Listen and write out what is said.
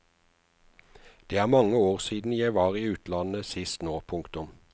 Det er mange år siden jeg var i utlandet sist nå. punktum